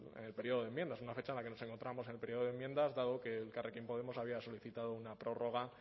en el periodo de enmiendas una fecha en la que nos encontrábamos en el periodo de enmiendas dado que elkarrekin podemos había solicitado una prórroga